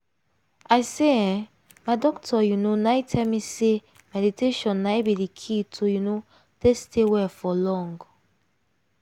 i say eeh my doctor you know na tell me say meditation na in be the key to you know take stay well for long.